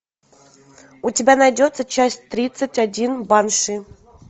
у тебя найдется часть тридцать один банши